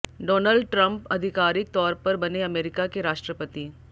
Donald Trump अधिकारिक तौर पर बने अमेरिका के राष्ट्रपति